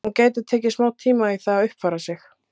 Hún gæti tekið smá tíma í það að uppfæra sig.